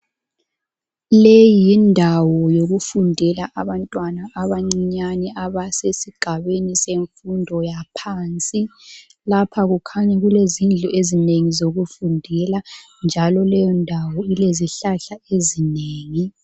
Leyi yindawo yokufundela abantwana abancinyane abasesigabeni semfundo yaphansi. Lapha kukhanya kulezindlu ezinengi zokufundela njalo leyondawo ilezihlahla ezinengi.